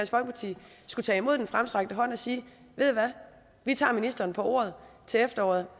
folkeparti skulle tage imod den fremstrakte hånd og sige ved i hvad vi tager ministeren på ordet til efteråret